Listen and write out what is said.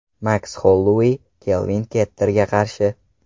Maks Hollouey Kelvin Kattarga qarshi.